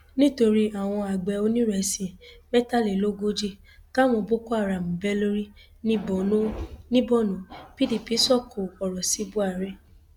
nítorí àwọn àgbẹ onírésì mẹtàlélógójì táwọn boko haram bẹ lórí ní borno pdp sọkò ọrọ sí buhari